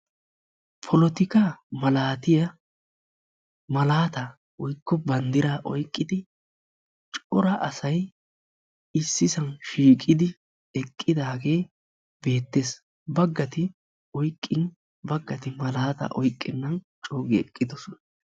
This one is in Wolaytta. Polotikkaa malaatiya malaataa woykko bandiraa oyqidi cora asay issisan shiiqidi eqqidaagee beettees. baggati oyqin baggati malaataa oyqennan coogi eqqidosona.